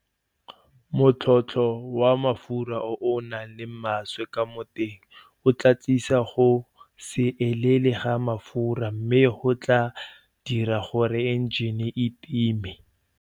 Motlhotlho wa mafura o o nang le maswe ka mo teng o tlaa tlisa go se elele ga mafura mme go tlaa dira gore enjene e time.